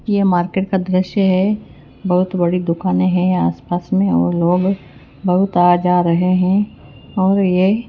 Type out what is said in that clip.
ये मार्केट का दृश्य है बहोत बड़ी दुकानें हैं आस पास में और लोग बहोत आ जा रहे हैं और ये--